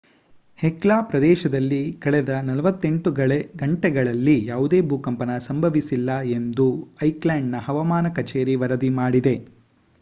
Hekla ಪ್ರದೇಶದಲ್ಲಿ ಕಳೆದ 48 ಗಂಟೆಗಳಲ್ಲಿ ಯಾವುದೇ ಭೂಕಂಪನ ಸಂಭವಿಸಿಲ್ಲ ಎಂದು ಐಲ್ಯಾಂಡಿಕ್ ಹವಾಮಾನ ಕಚೇರಿ ವರದಿ ಮಾಡಿದೆ